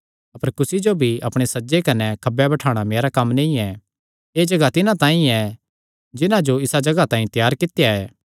अपर कुसी जो अपणे सज्जे कने अपणे खब्बे बठाणा मेरा कम्म नीं ऐ एह़ जगाह तिन्हां तांई ऐ जिन्हां जो इसा जगाह तांई त्यार कित्या ऐ